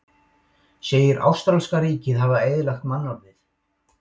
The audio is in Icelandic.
Segir ástralska ríkið hafa eyðilagt mannorðið